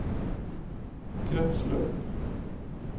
kretsløp